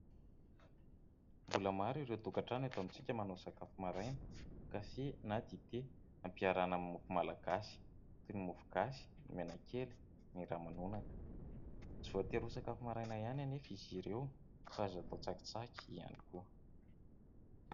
Mbola maro ireo tokantrano eto amintsika manao sakafo maraina kafe na dite ampiarahana amin'ny mofo malagasy toy ny mofo gasy, ny menakely, ny ramanonaka tsy voatey ho sakafo maraina ihany anefa izy ireo fa atao tsakitsaky ihany koa.